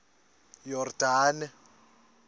yordane